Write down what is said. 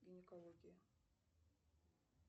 гинекология